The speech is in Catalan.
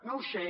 no ho sé